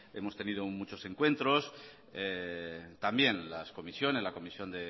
hemos tenido muchos encuentros también las comisiones la comisión